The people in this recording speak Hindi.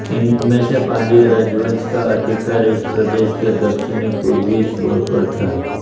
इनमें से पांड्य राजवंश का अधिकार इस प्रदेश के दक्षिणी पूर्वी छोर पर था